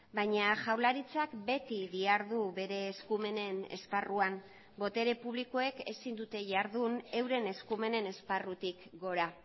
baina jaurlaritzak beti dihardu bere eskumenen esparruan botere publikoek ezin dute jardun euren eskumenen esparrutik gora